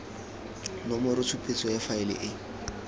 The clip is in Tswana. nomoro tshupetso ya faele e